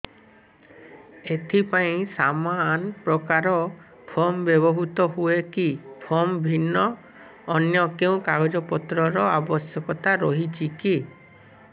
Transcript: ଏଥିପାଇଁ ସମାନପ୍ରକାର ଫର୍ମ ବ୍ୟବହୃତ ହୂଏକି ଫର୍ମ ଭିନ୍ନ ଅନ୍ୟ କେଉଁ କାଗଜପତ୍ରର ଆବଶ୍ୟକତା ରହିଛିକି